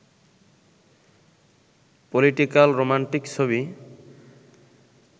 political romantic ছবি